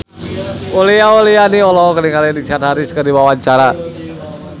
Uli Auliani olohok ningali Richard Harris keur diwawancara